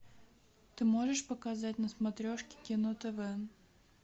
ты можешь показать на смотрешке кино тв